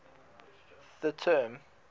the term